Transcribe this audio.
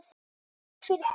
Svaraðu fyrir þig!